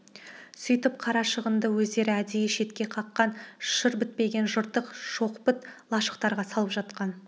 сөйтіп қарашығынды өздері әдейі шетке қаққан шыр бітпеген жыртық-шоқпыт лашықтарға салып жатқан